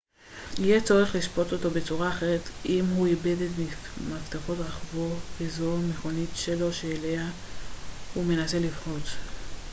יהיה צורך לשפוט אותו בצורה אחרת אם הוא איבד את מפתחות רכבו וזו המכונית שלו שאליה הוא מנסה לפרוץ